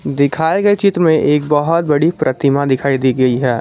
दिखाए गए चित्र में एक बहुत बड़ी प्रतिमा दिखाई दी गई है।